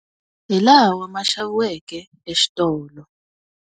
Hilawa ma xaviweke exitolo.